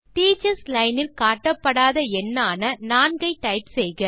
teachers line இல் காட்டப்படாத எண்ணான 4 ஐ டைப் செய்க